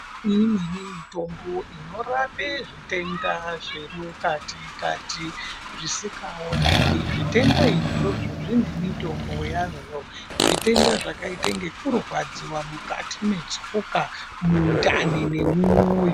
Imweni mitombo inorape zvitenda zvemukati kati zvisikaonekwi zvitenda izvozvo zvine mitombo yazvo. Zvitenda zvakaite ngekurwadziwa mukati mwetsoka, mundani nemumwoyo.